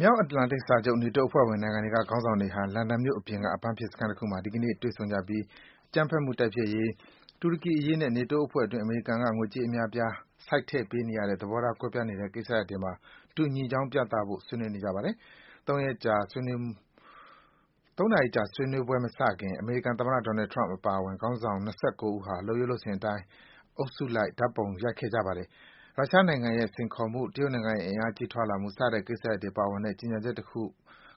မြောက်အတ္တလန်တိတ်စာချုပ် နေတိုးအဖွဲ့ဝင် နိုင်ငံတွေက ခေါင်းဆောင်တွေဟာ လန်ဒန်မြို့အပြင်က အပန်းဖြေစခန်းတခုမှာ ဒီကနေ့ တွေ့ဆုံပြီး အကြမ်းမှုတိုက်ဖျက်ရေး၊ တူရကီအရေးနဲ့ နေတိုးအဖွဲ့အတွင်း အမေရိကန်က ငွေကြေးအများအပြား စိုက်ထည့်ပေးနေရတဲ့ သဘောထားကွဲပြားနေတဲ့ ကိစ္စရပ်တွေမှာ ညီညွတ်ကြောင်း ပြသဖို့ ဆွေးနွေးနေကြပါတယ်။ ၃ နာရီကြာမယ့် ဆွေးနွေးပွဲမစခင် အမေရိကန်သမ္မတ Donald Trump အပါအဝင် ခေါင်းဆောင် ၂၉ ဦးဟာ လုပ်ရိုးလုပ်စဉ်အတိုင်း အုပ်စုလိုက် ဓါတ်ပုံရိုက်ခဲ့ကြပါတယ်။ ရုရှားနိုင်ငံရဲ့ စိန်ခေါ်မှု၊ တရုတ်နိုင်ငံရဲ့ အင်အားကြီးထွားလာမှု စတဲ့ကိစ္စရပ်တွေပါဝင်တဲ့ ကြေညာချက်တခု